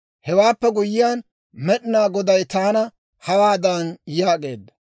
«Hewaappe guyyiyaan, Med'inaa Goday taana hawaadan yaageedda;